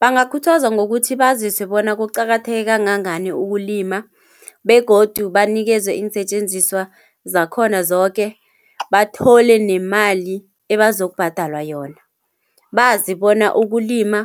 Bangakhuthazwa ngokuthi baziswe bona kuqakatheke kangangani ukulima, begodu banikezwe iinsetjenziswa zakhona zoke. Bathole nemali ebazokubhadelwa yona, bazi bona ukulima